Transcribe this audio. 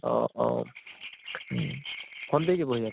অʼ অʼ উম ভন্টী কি পঢ়ি আছে ?